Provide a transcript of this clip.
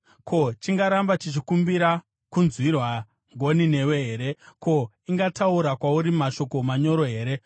Ko, ingaramba ichikumbira kunzwirwa ngoni newe here? Ko, ingataura kwauri mashoko manyoro here?